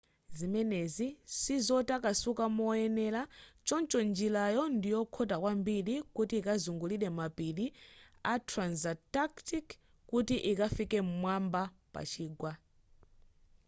zimenezi sizotakasuka moyenera choncho njirayo ndiyokhota kwambiri kuti ikazungulire mapiri a transantarctic kuti ikafike pa mwamba pa chigwa